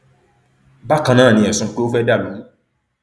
bákan náà ni ẹsùn pé ó fẹẹ dàlú rú